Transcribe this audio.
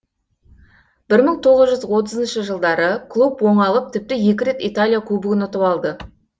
бір мың тоғыз жүз отызыншы жылдары клуб оңалып тіпті екі рет италия кубогын ұтып алды